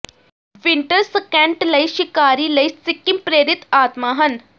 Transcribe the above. winter scent ਲਈ ਸ਼ਿਕਾਰੀ ਲਈ ਸਿੱਕਿਮ ਪ੍ਰੇਰਿਤ ਆਤਮਾ ਹਨ